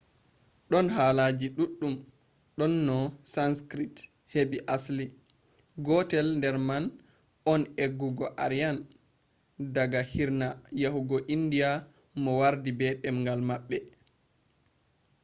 don haalaji duddum do no sanskrit hebi asli. gotel der man on do eggugo aryan daga hirna yahugo india mo wardi be demgal mabbe